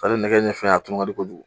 Ale nɛgɛ ni fɛn a ka di kojugu.